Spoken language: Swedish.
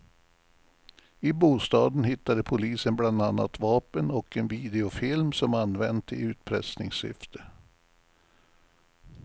I bostaden hittade polisen bland annat vapen och en videofilm som använts i utpressningssyfte.